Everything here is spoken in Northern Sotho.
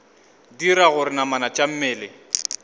dira gore namana tša mmele